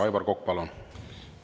Aivar Kokk, palun!